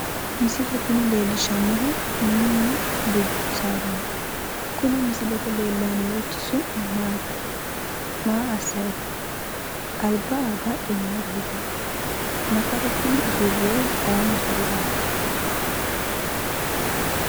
Misile tini leellishshannohu mininna dubbu sadaati kuni misilete leellayinorichchi su'mi maati maa assayi no alba badhe mayiira higino nafaru kuni usurroyihu ayii nafariraati